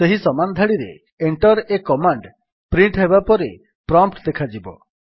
ସେହି ସମାନ ଧାଡିରେ enter a କମାଣ୍ଡ ପ୍ରିଣ୍ଟ୍ ହେବା ପରେ ପ୍ରମ୍ପ୍ଟ୍ ଦେଖାଯିବ